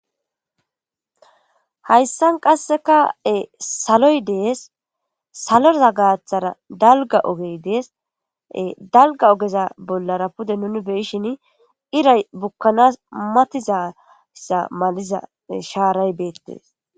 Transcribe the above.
hayssan qassekae saloy dees saloza gaaththara dalga ogey dees dalga ogeza bollara pude nuni beyishin iray bukkanas matizassa maliza shaaray beettees